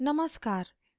नमस्कार !